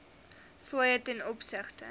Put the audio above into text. fooie ten opsigte